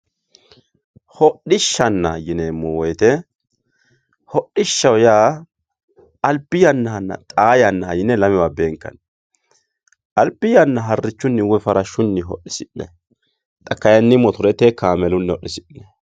Hodhishana yineemo woyite hodhishaho yaa albi yanahana xaa yanaha yine lamewa beenkani albi yana harichuni woyi farashuni hodhisinay xa kayini motorete kaameluni hodhisinayi